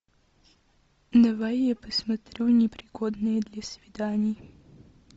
давай я посмотрю непригодные для свиданий